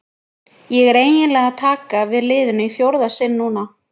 Ég er því eiginlega að taka við liðinu í fjórða sinn núna.